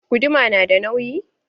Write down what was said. Guduma na da nauyi?